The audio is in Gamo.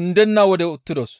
undenna wode uttidos.